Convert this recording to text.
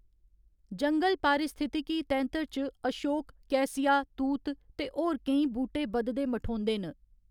जंगल पारिस्थितिकी तैंतर च अशोक, कैसिया, तूत ते होर केईं बूह्‌‌टे बधदे मठोंदे न।